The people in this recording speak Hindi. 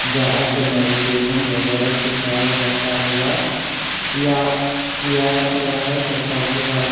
जहां पर मेडिटेशन वगैरा सिखाया जाता होगा या किया करवाया जाता होगा--